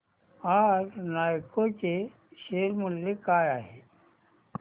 आज नालको चे शेअर मूल्य काय आहे